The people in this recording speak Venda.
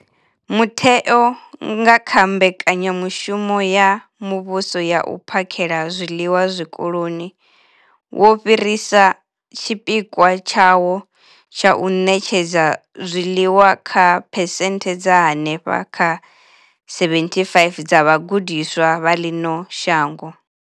Mutheo, nga kha Mbekanya mushumo ya Muvhuso ya U phakhela zwiḽiwa Zwikoloni, wo fhirisa tshipikwa tshawo tsha u ṋetshedza zwiḽiwa kha phesenthe dza henefha kha 75 dza vhagudiswa vha ḽino shango.